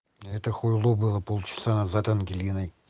а это хуйло было полчаса назад ангелиной